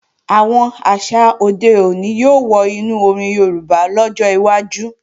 Àwọn àṣà òde òní yóò wọ inú orin Yorùbá lọ́jọ́ iwájú